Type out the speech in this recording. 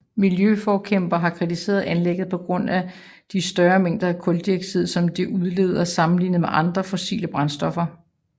Miljøforkæmpere har kritiseret anlægget på grund af de større mængder af kuldioxid som det udleder sammenlignet med andre fossile brændstoffer